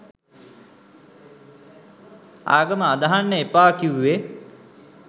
ආගම අදහන්න එපා කිවුවෙ